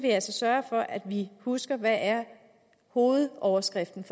sørge for at vi husker hvad hovedoverskriften